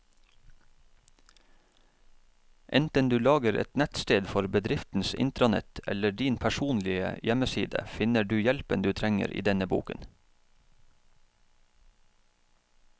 Enten du lager et nettsted for bedriftens intranett eller din personlige hjemmeside, finner du hjelpen du trenger i denne boken.